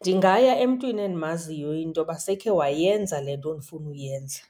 Ndingaya emntwini endimaziyo intoba sekhe wayenza le nto ndifuna ukuyenza.